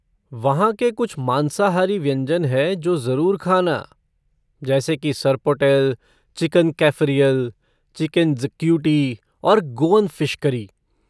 वहाँ के कुछ मांसाहारी व्यंजन है जो ज़रूर खाना, जैसी की सर्पोटेल, चिकन कैफ़रियल, चिकेन ज्क्यूटी और गोअन फ़िश करी।